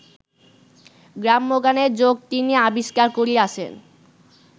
গ্রাম্যগানের যোগ তিনি আবিষ্কার করিয়াছেন